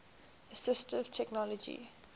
assistive technology